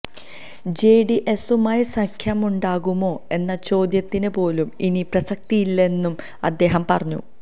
ജെഡിഎസുമായി സഖ്യമുണ്ടാകുമോ എന്ന ചോദ്യത്തിന് പോലും ഇനി പ്രസക്തിയില്ലെന്നും അദ്ദേഹം പറഞ്ഞു